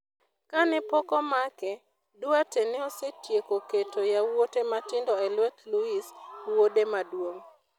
Kane pok omake, Duarte ne osetieko keto yawuote matindo e lwet Luis, wuode maduong'.